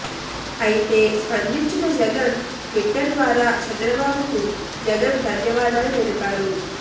అయితే స్పందించిన జగన్ ట్విట్టర్ ద్వారా చంద్రబాబుకు జగన్ ధన్యవాదాలు తెలిపారు